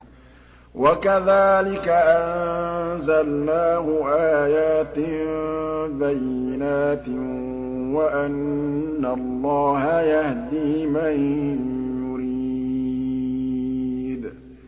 وَكَذَٰلِكَ أَنزَلْنَاهُ آيَاتٍ بَيِّنَاتٍ وَأَنَّ اللَّهَ يَهْدِي مَن يُرِيدُ